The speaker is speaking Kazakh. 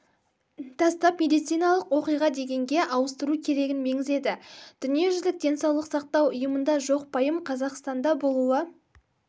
тастап медициналық оқиға дегенге ауыстыру керегін меңзеді дүниежүзілік денсаулық сақтау ұйымында жоқ пайым қазақстанда болуы